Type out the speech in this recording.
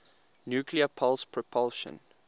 nuclear pulse propulsion